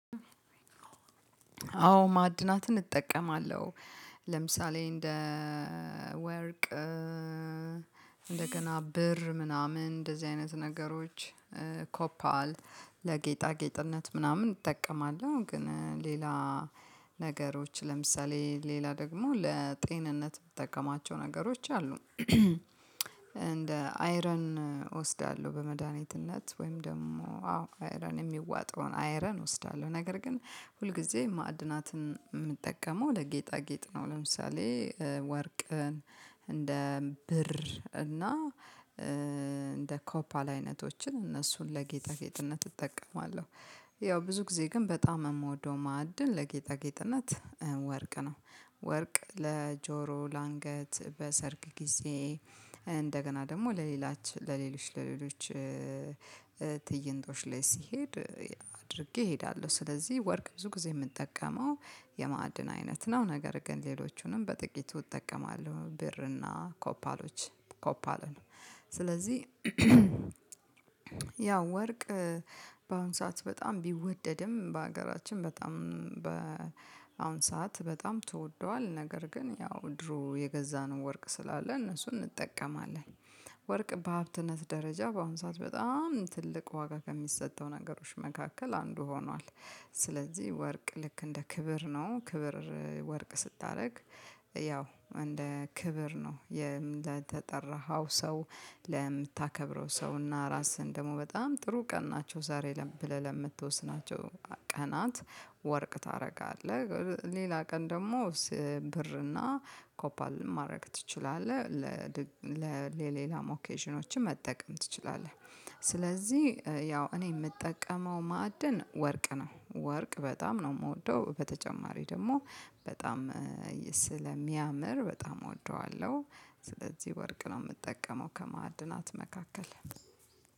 አዎ ማዕድናትን እጠቀማለሁ ለምሳሌ እንደ ወርቅ እንደገና ብር ምናምን እንደዚህ አይነት ነገሮች ኮፓል ለጌጣጌጥነት ምናምን እጠቀማለሁ። ግን ሌላ ነገሮች ለምሳሌ ሌላ ደግሞ ለጤንነት ምጠቀማቸው ነገሮች አሉ። እንደ አይረን እወስዳለሁ በመድሃኒትነት ወይም ደግሞ አዎ አይረን ሚዋጠውን አይረን እወስዳለሁ ነገር ግን ሁልጊዜ ማዕድናትን ምንጠቀመው ለጌጣጌጥ ነው። ለምሳሌ ወርቅን እንደ ብር እና እንደ ኮፓል አይነቶችን እነሱን ለጌጣጌጥነት እጠቀማለሁ። ያው ብዙ ጊዜ ግን በጣም ምወደው ማዕድን ለጌጣጌጥነት ወርቅ ነው። ወርቅ ለጆሮ ለአንገት በሰርግ ጊዜ እንደገና ደግሞ ለሌላች ለሌሎች ለሌሎች ትይንቶች ላይ ሲሄድ አድርጌ እሄዳለሁ። ስለዚህ ወርቅ ብዙ ጊዜ ምጠቀመው የማዕድን አይነት ነው። ነገር ግን ሌሎቹንም በጥቂቱ እጠቀማለሁ ብርና ኮፓሎች ኮፓለ ነው። ስለዚህ ያው ወርቅ ባሁኑ ሰዓት በጣም ቢወደድም በሀገራችን በጣም በአሁን ሰዓት በጣም ተወዷል። ነገር ግን ያው ድሮ የገዛነው ወርቅ ስላለ እነሱን እንጠቀማለን። ወርቅ በሀብትነት ደረጃ በአሁን ሰዓት በጣም ትልቅ ዋጋ ከሚሰጠው ነገሮች መካከል አንዱ ሆኗል። ስለዚህ ወርቅ ልክ እንደ ክብር ነው። ክብር ወርቅ ስታደርግ ያው እንደ ክብር ነው የተጠራኸው። ሰው ለምታከብረው ሰው እና ራስህን ደግሞ በጣም ጥሩ ቀን ናቸው ዛሬ ብለህ ለምትወስናቸው ቀናት ወርቅ ታረጋለህ ሌላ ቀን ደግሞ ብርና ኮፓል ማድረግ ትችላለህ። ለሌላም ኦኬዥኖች መጠቀም ትችላለህ ስለዚህ ያው እኔ ምጠቀመው ማዕድን ወርቅ ነው። ወርቅ በጣም ነው ምወደው በተጨማሪ ደግሞ በጣም ስለሚያምር በጣም እወደዋለሁ። ስለዚህ ወርቅ ነው ምጠቀመው ከማዕድናት መካከል